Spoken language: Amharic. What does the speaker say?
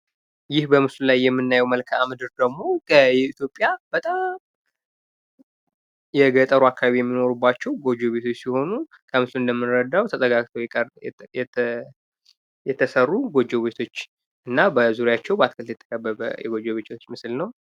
ይህ በምስሉ ላይ የምናየው የኢትዮጵያ መልከአምድር ደግሞ የገጠሩ አካባቢ የሚኖሩባቸው ጎጆ ቤቶች ሲሆን፤ ዙሪያቸውን በአትክልት የተከበቡ ናቸው።